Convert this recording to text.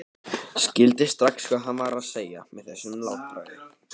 Skildi strax hvað hann var að segja með þessu látbragði.